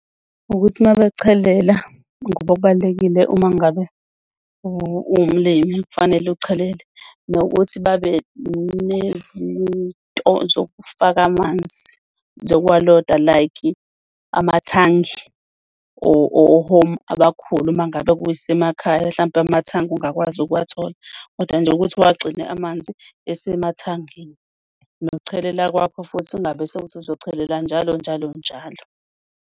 Ukuthi uma bechelela ngoba kubalulekile uma ngabe uwumlimi kufanele uchelele nokuthi babe nezinto zokufaka amanzi zokuwaloa, like amathangi ohomu abakhulu, uma ngabe kuyisemakhaya hlampe amathangi ungakwazi ukuwathola, kodwa nje ukuthi uwagcine amanzi esemathangini. Nokuchelela kwakho futhi ungabe sewukuthi uzochelela njalo njalo njalo.